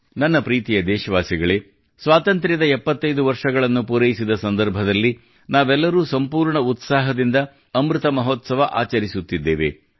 ನನ್ನ ಪ್ರೀತಿಯ ದೇಶವಾಸಿಗಳೇ ಸ್ವಾತಂತ್ರ್ಯದ 75 ವರ್ಷಗಳನ್ನು ಪೂರೈಸಿದ ಸಂದರ್ಭದಲ್ಲಿ ನಾವೆಲ್ಲರೂ ಸಂಪೂರ್ಣ ಉತ್ಸಾಹದಿಂದ ಅಮೃತ ಮಹೋತ್ಸವ ಆಚರಿಸುತ್ತಿದ್ದೇವೆ